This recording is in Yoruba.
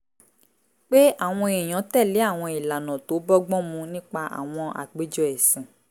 pé àwọn èèyàn tẹ̀lé àwọn ìlànà tó bọ́gbọ́n mu nípa àwọn àpéjọ ẹ̀sìn